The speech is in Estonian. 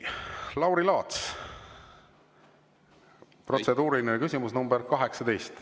Lauri Laats, protseduuriline küsimus nr 18.